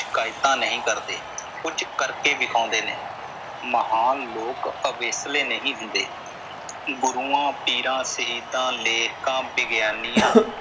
ਸ਼ਿਕਾਇਤਾਂ ਨਹੀਂ ਕਰਦੇ ਕੁਝ ਕਰਕੇ ਦਿਖਾਉਂਦੇ ਨੇ। ਮਹਾਨ ਲੋਕ ਅਵੇਸਲੇ ਨਹੀਂ ਹੁੰਦੇ। ਗੁਰੂਆਂ, ਪੀਰਾਂ, ਸ਼ਹੀਦਾਂ, ਲੇਖਕਾਂ, ਵਿਗਿਆਨੀਆਂ।